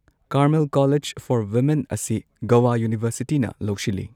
Carmel college for women ꯑꯁꯤ ꯒꯣꯋꯥ ꯌꯨꯅꯤꯚꯔꯁꯤꯇꯤꯅ ꯂꯧꯁꯤꯜꯂꯤ꯫